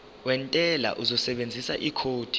wentela uzosebenzisa ikhodi